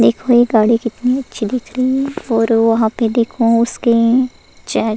देखो ये गाड़ी कितनी अच्छी दिख रही है और वहाँ पे देखो उसके चे --